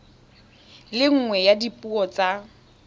le nngwe ya dipuo tsa